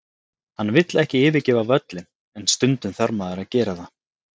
Hann vill ekki yfirgefa völlinn, en stundum þarf maður að gera það.